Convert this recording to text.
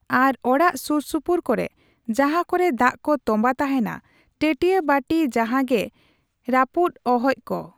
ᱟᱨ ᱚᱲᱟᱜ ᱥᱩᱨ ᱥᱩᱯᱩᱨ ᱠᱚᱨᱮ ᱡᱟᱦᱟᱸ ᱠᱚᱨᱮ ᱫᱟᱜ ᱠᱚ ᱛᱚᱸᱢᱵᱟ ᱛᱟᱦᱮᱱᱟ ᱴᱟᱹᱴᱭᱟᱹ ᱵᱟᱴᱤ ᱡᱟᱦᱟᱸᱜᱮ ᱨᱟᱯᱩᱜ ᱚᱦᱚᱡ ᱠᱚ᱾